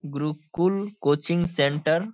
Gurukul coaching centre --